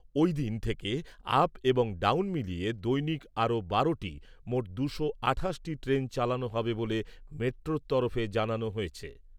ওই দিন থেকে আপ এবং ডাউন মিলিয়ে দৈনিক আরো বারোটি, মোট দুশো আঠাশটি ট্রেন চালানো হবে বলে মেট্রোর তরফে জানানো হয়েছে।